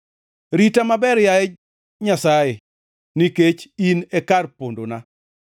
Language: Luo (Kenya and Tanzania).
Rita maber, yaye Nyasaye nikech in e kar pondona.